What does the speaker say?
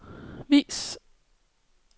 vis